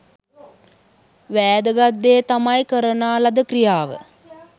වෑදගත් දේ තමයි කරනා ලද ක්‍රියාව